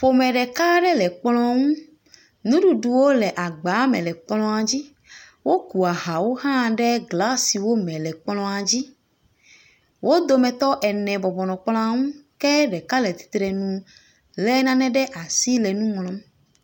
Ƒome ɖeka aɖe le kplɔ̃ ŋu. Nuɖuɖuwo le agba me le kplɔ̃ dzi. Woku ahawo hã glasiwo me le kplɔ̃a dzi. Wo dometɔ ene bɔbɔ nɔ kplɔ̃a ŋu ke ɖeka le tsitre nu le nane ɖe asi le nu ŋlɔm.